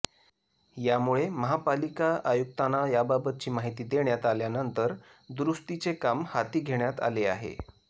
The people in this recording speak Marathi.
यामुळे महापालिका आयुक्तांना याबाबतची माहिती देण्यात आल्यानंतर दुरूस्तीचे काम हाती घेण्यात आले आहे